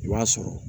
I b'a sɔrɔ